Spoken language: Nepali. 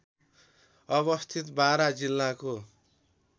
अवस्थित बारा जिल्लाको